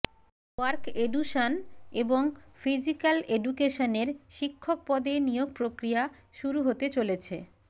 work education এবং physical এডুকেশনের শিক্ষক পদে নিয়োগ প্রক্রিয়া শুরু হতে চলেছে